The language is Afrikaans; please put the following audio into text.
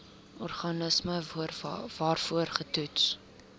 organisme waarvoor getoets